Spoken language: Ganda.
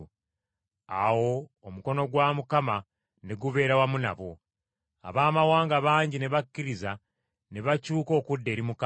Awo omukono gwa Mukama ne gubeera wamu nabo, Abaamawanga bangi ne bakkiriza ne bakyuka okudda eri Mukama.